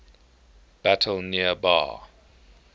battle near bar